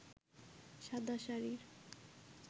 শাদা শাড়ির